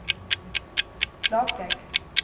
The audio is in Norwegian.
Klakegg